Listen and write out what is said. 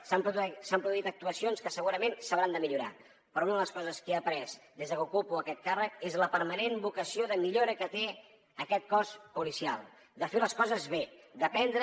s’han produït actuacions que segurament s’hauran de millorar però una de les coses que he après des de que ocupo aquest càrrec és la permanent vocació de millora que té aquest cos policial de fer les coses bé d’aprendre